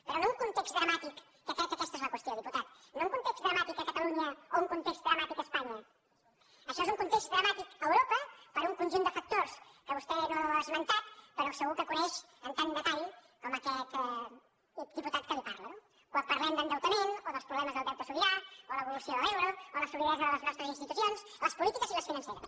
però no un context dramàtic que crec que aquesta és la qüestió diputat a catalunya o un context dramàtic a espanya això és un context dramàtic a europa per un conjunt de factors que vostè no ha esmentat però que segur que coneix amb tant detall com aquest diputat que li parla no quan parlem d’endeutament o dels problemes del deute sobirà o de l’evolució de l’euro o de la solidesa de les nostres institucions les polítiques i les financeres